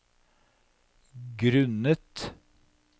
grunnet